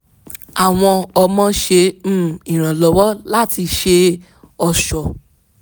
àwọn ọmọ ṣe um ìrànlọ́wọ́ láti ṣe ọ̀ṣọ́